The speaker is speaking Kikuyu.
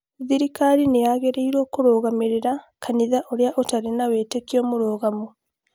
thirikari nĩ yagĩrĩirũo kũrũgamĩrĩra kanitha ũrĩa ũtarĩ na wĩtĩkio mũrũgamu